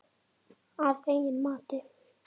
Að eigin mati.